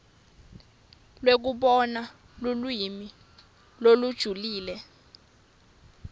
lekubona lulwimi lolujulile